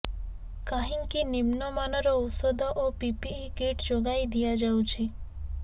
କାହିଁକି ନିମ୍ନ ମାନର ଔଷଧ ଓ ପିପିଇ କିଟ୍ ଯୋଗାଇ ଦିଆଯାଉଛି